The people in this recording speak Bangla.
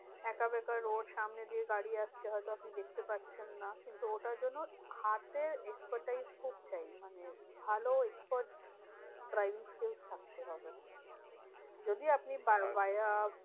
আঁকাবাকা road সামনে দিয়ে গাড়ি আসছে হয়তো আপনি দেখতে পাচ্ছেন না কিন্তু ওটার জন্যে হাতের expertise খুব চাই। মানে ভালো expert driving skills থাকতে হবে। যদি আপনি আচ্ছা